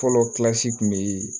Fɔlɔ kun bɛ